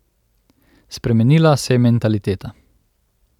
Spremenila se je mentaliteta.